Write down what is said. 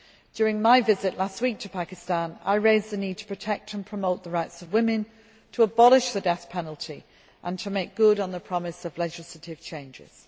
During my visit last week to Pakistan, I raised the issues of the need to protect and promote the rights of women, to abolish the death penalty and to make good on the promise of legislative changes.